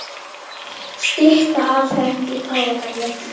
Una: Og er þetta orðið ómissandi hluti af jólahaldinu hjá mörgum?